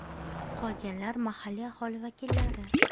Qolganlar mahalliy aholi vakillari.